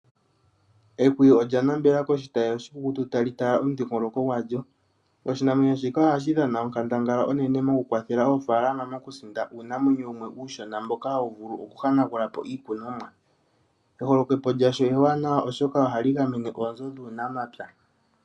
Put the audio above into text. Ehwiyu olya nambela koshitayi oshikukutu tali tala omudhingoloko gwalyo. Oshinamwenyo shika ohashi dhana onkandangala unene mokukwathele aanafalama mokusinda uunamwenyo wumwe uushona mboka hawu vulu okuhanagulapo iikunomwa. Eholokepo lyasho ewanawa oshoka ohali gamene oonzo dhuunamapya.